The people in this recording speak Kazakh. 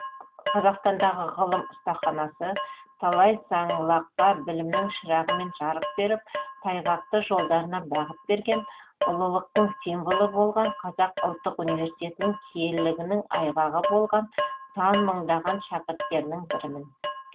қазақстандағы ғылым ұстаханасы талай саңылаққа білімнің шырағымен жарық беріп тайғақты жолдарына бағыт берген ұлылықтың символы болған қазақ ұлттық университетінің киелігінің айғағы болған сан мыңдаған шәкірттерінің бірімін